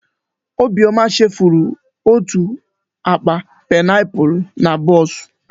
Obiọma chefuru otú akpa paịnapụlụ na bọọsụ.